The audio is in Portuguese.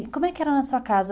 E como é que era na sua casa?